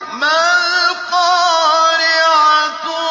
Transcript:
مَا الْقَارِعَةُ